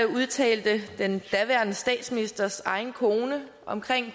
udtalte den daværende statsministers egen kone om